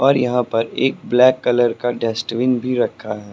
और यहां पर एक ब्लैक कलर का डस्टबिन भी रखा है।